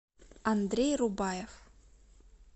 андрей рубаев